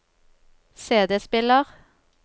CD-spiller